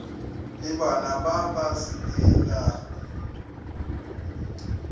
le bana ba ba selelago